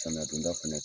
Samiya donda fɛnɛ